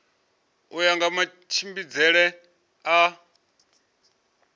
u ya nga matshimbidzele a